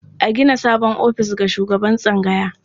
A gina sabon ofis ga shugaban tsangaya.